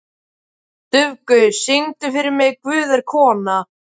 Dufgus, syngdu fyrir mig „Guð er kona“.